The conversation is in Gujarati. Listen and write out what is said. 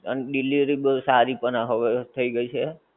અને delivery સારી પણ હવે થઈ ગઈ છે.